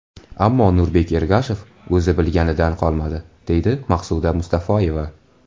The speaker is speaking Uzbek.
Ammo Nurbek Ergashev o‘zi bilganidan qolmadi”, deydi Maqsuda Mustafoyeva.